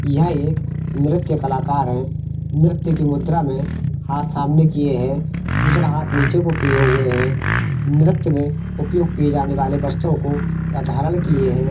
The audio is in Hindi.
यह एक नृत्य कलाकार हैनृत्य की मुद्रा में हाथ सामने किए है दूसरा हाथ नीचे को किए हुए है नृत्य में उपयोग किए जाने वाले वस्त्रों को धारण किए है।